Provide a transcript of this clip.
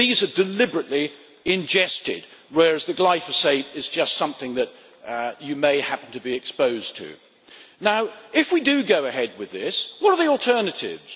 These are deliberately ingested, whereas glyphosate is just something that you may happen to be exposed to. If we do go ahead with this ban, what are the alternatives?